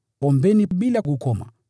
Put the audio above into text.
ombeni bila kukoma;